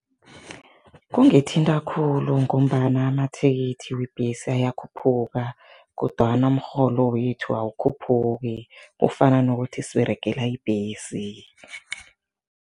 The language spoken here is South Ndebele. Kungithinta khulu ngombana amathikithi webhesi ayakhuphuka kodwana umrholo wethu awukhuphuki, kufana nokuthi siberegela ibhesi.